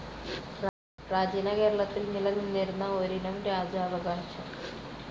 പ്രാചീന കേരളത്തിൽ നിലനിന്നിരുന്ന ഒരിനം രാജാവകാശം.